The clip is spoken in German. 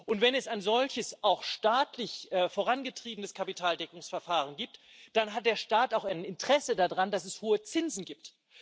Und wenn es ein solches auch staatlich vorangetriebenes Kapitaldeckungsverfahren gibt, dann hat der Staat auch ein Interesse daran, dass es hohe Zinsen gibt.